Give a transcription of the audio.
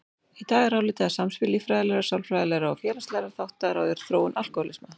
Í dag er álitið að samspil líffræðilegra, sálfræðilegra og félagslegra þátta ráði þróun alkóhólisma.